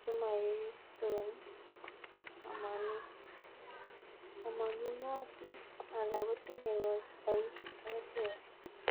che moyesyotin omonunotik ala kotinye koik ak keswek alak.